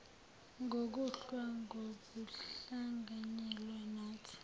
ngokulwa ngokuhlanganyela nathi